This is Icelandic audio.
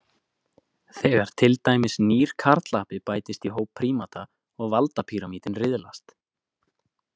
Þegar til dæmis nýr karlapi bætist í hóp prímata og valdapíramítinn riðlast.